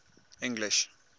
english